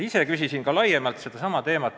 Ise küsisin teema kohta laiemalt.